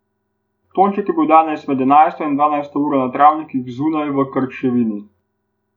Tonček je bil danes med enajsto in dvanajsto uro na travnikih zunaj v Krčevini.